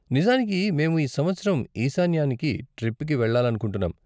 నిజానికి, మేము ఈ సంవత్సరం ఈశాన్యానికి ట్రిప్కి వెళ్ళాలనుకుంటున్నాం.